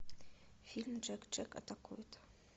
фильм джек джек атакует